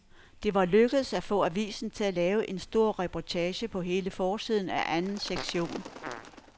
Det var lykkedes at få avisen til at lave en stor reportage på hele forsiden af anden sektion.